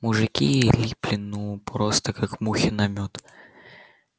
мужики липли ну просто как мухи на мёд